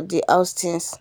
the app easy um easy.